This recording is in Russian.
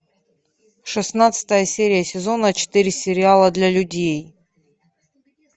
шестнадцатая серия сезона четыре сериала для людей